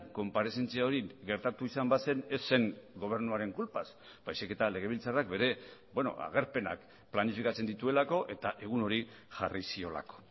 konparezentzia hori gertatu izan bazen ez zen gobernuaren kulpaz baizik eta legebiltzarrak bere agerpenak planifikatzen dituelako eta egun hori jarri ziolako